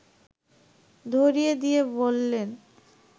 ধরিয়ে দিয়ে বললেন